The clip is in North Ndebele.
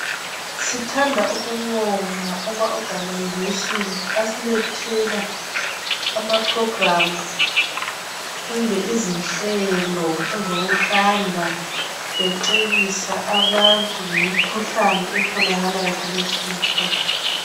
Sithanda ukubonga ama organization asilethela ama program kumbe izinhlelo ezokuhamba becebisa abantu ngemikhuhlane etholakalayo kulezinsuku.